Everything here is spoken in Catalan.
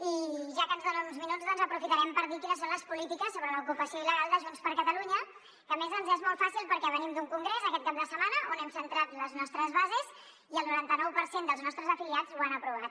i ja que ens donen uns minuts doncs aprofitarem per dir quines són les polítiques sobre l’ocupació il·legal de junts per catalunya que a més ens és molt fàcil perquè venim d’un congrés aquest cap de setmana on hem centrat les nostres bases i el noranta nou per cent dels nostres afiliats ho han aprovat